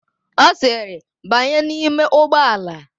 Ọ sịrị, "banye n'ime ụgbọala"!